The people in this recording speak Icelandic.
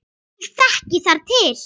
Ég þekki þar til.